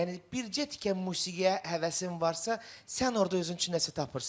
Yəni bircə tikə musiqiyə həvəsin varsa, sən orda özün üçün nəsə tapırsan.